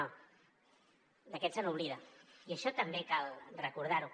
d’aquests s’oblida i això també cal recordar ho